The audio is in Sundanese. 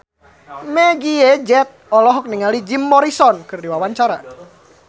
Meggie Z olohok ningali Jim Morrison keur diwawancara